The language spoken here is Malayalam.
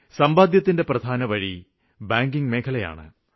സമ്പാദ്യത്തിന്റെ പ്രധാനവഴി ബാങ്കിംഗ് മേഖലയിലാണ്